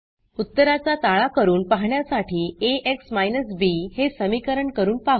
उत्तराचा ताळा करून पाहण्यासाठी ax बी हे समीकरण करून पाहू